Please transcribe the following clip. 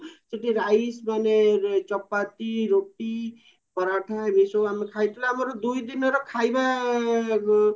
ସେଠି rice ମାନେ ଚପାତି ରୋଟି ପରଠା ଏଇସବୁ ଆମେ ଖାଇଥିଲୁ ଆଉ ଆମର ଦୁଇ ଦିନର ଖାଇବା